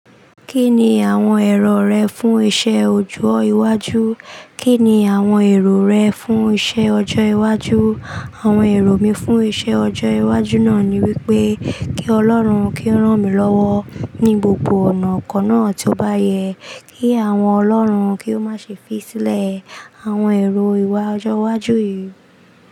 Kí ni àwọn èrò rẹ fún iṣẹ́ ọjọ́ iwájú? Kí ni àwọn èrò rẹ fún iṣẹ́ ọjọ́ iwájú? Àwọn èrò mi fún iṣẹ́ ọjọ́ iwájú náà ni wípé kí Ọlọ́run kí ó rán mi lọ́wọ́ ní gbogbo ọ̀nà kọ́ náà tí ó bá yẹ, kí àwọn ọlọ́run kí ó má ṣe fi sílẹ̀. Àwọn èrò ìwà ọjọ́ iwájú yìí.